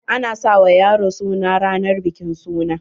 A na sa wa yaro suna ranan bikin suna.